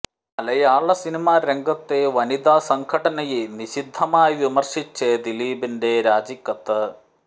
മലയാളസിനിമാ രംഗത്തെ വനിതാ സംഘടനയെ നിശിതമായി വിമര്ശിച്ച് ദിലീപിന്റെ രാജി കത്ത്